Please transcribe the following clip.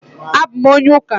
A bụ m onye ụka